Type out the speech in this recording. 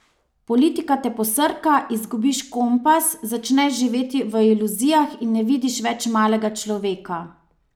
Politika te posrka, izgubiš kompas, začneš živeti v iluzijah in ne vidiš več malega človeka.